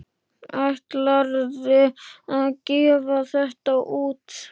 Ætlarðu að gefa þetta út?